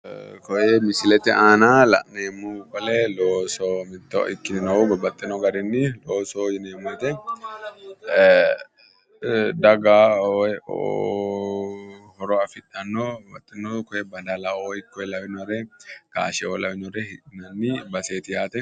Ee koye misilete aana la'neemmohu qole looso mitto ikkinohu babbaxxinogarinni loosoho yineemmo woyte daga horo afidhanno kiye badalaoo ikko gaasheoo lawinore hidhinayi baseeti yaate.